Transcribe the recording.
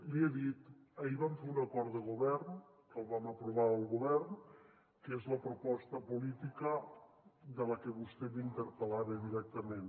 li he dit ahir vam fer un acord de govern que el vam aprovar el govern que és la proposta política de la que vostè m’interpel·lava directament